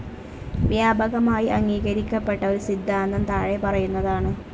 വ്യാപകമായി അംഗീകരിക്കപ്പെട്ട ഒരു സിദ്ധാന്തം താഴെ പറയുന്നതാണ്.